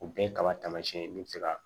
O bɛɛ ye kaba tamasiyɛn min bɛ se ka